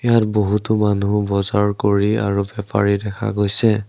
ইয়াত বহুতো মানুহ বজাৰ কৰি আৰু বেপাৰী দেখা গৈছে।